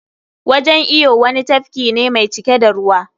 Wajan iyo wani tafki ne mai cike da ruwa.